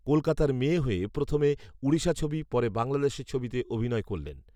কলকাতার মেয়ে হয়ে প্রথমে ঊড়িষার ছবি পরে বাংলাদেশের ছবিতে অভিনয় করলেন